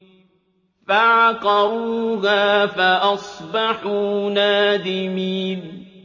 فَعَقَرُوهَا فَأَصْبَحُوا نَادِمِينَ